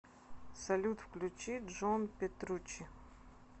салют включи джон петруччи